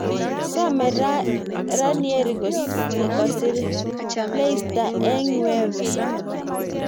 Some Ranieri kosiir leister eng UEFA